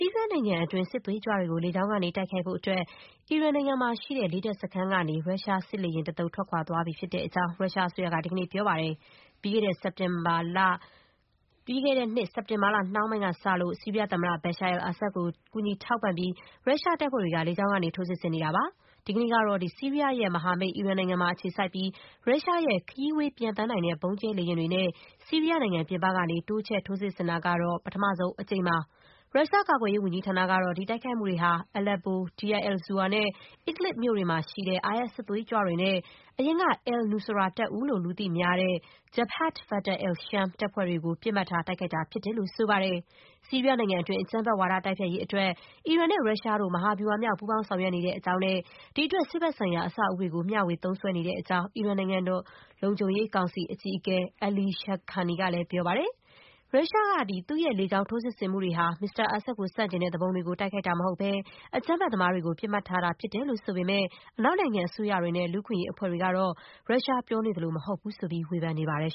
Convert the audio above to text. ီးယားနိုင်ငံအတွင်းက စစ်သွေးကြွတွေကို လေကြောင်းကနေ တိုက်ခိုက်ဖို့အတွက် အီရန်နိုင်ငံမှာရှိတဲ့ လေတပ်စခန်းကနေ ရုရှား စစ်လေယာဉ် တသုတ် ထွက်ခွာသွားတဲ့အကြောင်း ရုရှားအစိုးရက ဒီကနေ့ ပြောပါတယ်။ ပြီးခဲ့တဲ့နှစ် စက်တင်ဘာလ နှောင်းပိုင်းကစလို့ ဆီးရီးယားသမ္မတ Bashar al-Assad ကို ကူညီထောက်ပံ့ပြီး ရုရှားတပ်ဖွဲ့တွေက လေကြောင်းကနေ ထိုးစစ်ဆင်နေတာပါ။ ဒီကနေ့ကတော့ ဆီးရီးယားရဲ့ မဟာမိတ် အီရန်နိုင်ငံမှာ အခြေစိုက်ပြီး ရုရှားရဲ့ ခရီးဝေးပျံသန်းနိုင်တဲ့ ဗုံးကျဲလေယာဉ်တွေနဲ့ ဆီးယီးယားနိုင်ငံ ပြင်ပကနေ တိုးချဲ့စစ်ဆင်တာ ကတော့ ပထမဆုံးအကြိမ်ဖြစ်ပါတယ်။ ရုရှားကာကွယ်ရေး ဝန်ကြီး ဌာနကတော့ ဒီတိုက်ခိုက်မှုတွေဟာ Aleppo ၊ Deir el-Zour နဲ့ Idlib မြို့တွေမှာရှိတဲ့ IS စစ်သွေးကြွတွေနဲ့ အရင်က al-Nusra တပ်ဦးလို့ လူသိများတဲ့ Jabhat Fateh al-Sham အဖွဲ့တွေကို ပစ်မှတ်ထား တိုက်ခိုက်တာ ဖြစ်တယ်လို့ ဆိုပါတယ်။ ဆီးရီးယားနိုင်ငံတွင်း အကြမ်းဖက်ဝါဒ တိုက်ဖျက်ရေးအတွက် အီရန်နဲ့ ရုရှားတို့ မဟာဗျူဟာမြောက် ပူးပေါင်းဆောင်ရွက်နေတဲ့အကြောင်းနဲ့ ဒီအတွက် စစ်ဘက်ဆိုင်ရာ အဆောက်အဦးတွေကို မျှေ၀ သုံးစွဲနေတဲ့အကြောင်း အီရန် နိုင်ငံတော်လုံခြုံရေး ကောင်စီအကြီးအကဲ Ali Shamkhani က ပြောပါတယ်။ ရုရှားက သူ့ရဲ့လေကြောင်း ထိုးစစ်ဆင်မှုတွေ ဟာ မစ္စတာ အာဆတ်ကို ဆန့်ကျင်တဲ့ သူပုန်တွေကို တိုက်ခိုက်တာမဟုတ်ဘဲ အကြမ်းဖက်သမားတွေကို ပစ်မှတ်ထားတာ ဖြစ်တယ်လို့ ပြောပေမဲ့ အနောက်နိုင်ငံအစိုးရတွေနဲ့ လူ့အခွင့်အရေးအဖွဲ့တွေ ကတော့ ရုရှားပြောနေသလို မဟုတ်တဲ့အကြောင်း ဝေဖန်ထားပါတယ်